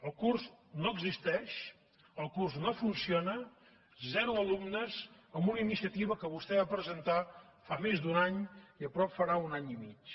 el curs no existeix el curs no funciona zero alumnes en una iniciativa que vostè va presentar fa més d’un any i aviat farà un any i mig